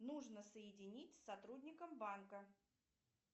нужно соединить с сотрудником банка